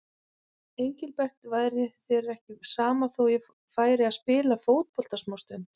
Engilbert, væri þér ekki sama þó ég færi og spilaði fótbolta smástund.